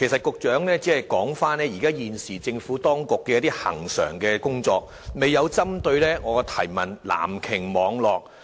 局長只是提及政府當局現時的一些恆常工作，未有針對我提問的"藍鯨"網絡作答。